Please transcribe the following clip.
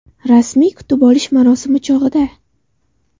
Rasmiy kutib olish marosimi chog‘ida.